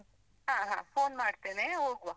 ಹಾ, ಹಾ phone ಮಾಡ್ತೇನೆ, ಹೋಗುವ.